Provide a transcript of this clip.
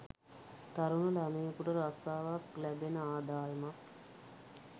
තරුණ ළමයෙකුට රස්සාවක් ලැබෙන ආදායමක්